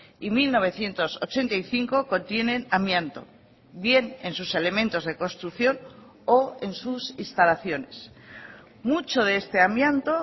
y mil novecientos ochenta y cinco contienen amianto bien en sus elementos de construcción o en sus instalaciones mucho de este amianto